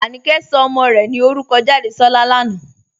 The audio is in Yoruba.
Ànìkẹ̀ sọ̀ ọmọ́ rè ní orúkọ́ Jádésọ̀lá lànà"